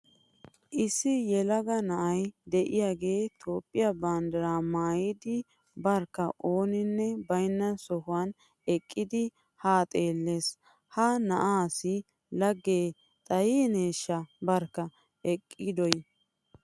Issi yelaga na'ay de'iyagee Toophphiya banddiraa maayidi barkka ooninne baynna sohuwan eqqidi haa xeellees. Ha na'aassi laggee xayineeshaha barkka eqqidoy!